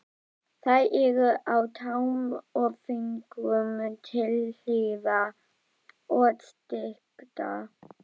Þær eru á tám og fingrum til hlífðar og styrktar.